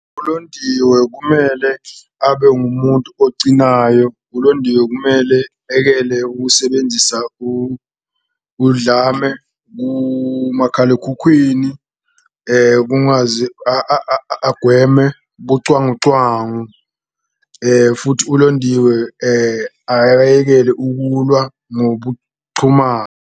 ULondiwe kumele abe ngumuntu ocinayo, uLondiwe kumele ayekele ukusebenzisa udlame kumakhalekhukhwini, kungaze agweme bucwangucwangu, futhi uLondiwe akayekele ukulwa .